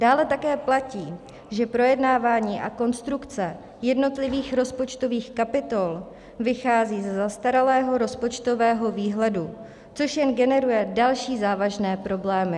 Dále také platí, že projednávání a konstrukce jednotlivých rozpočtových kapitol vychází ze zastaralého rozpočtového výhledu, což jen generuje další závažné problémy.